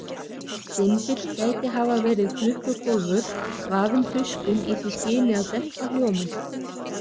Dymbill gæti hafa verið klukkukólfur, vafinn tuskum í því skyni að dempa hljóminn.